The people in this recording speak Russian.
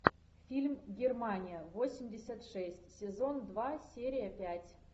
фильм германия восемьдесят шесть сезон два серия пять